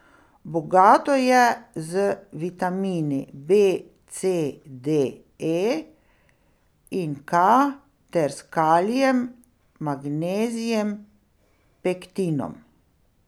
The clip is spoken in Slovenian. Bogato je z vitamini B, C, D, E in K ter kalijem, magnezijem, pektinom...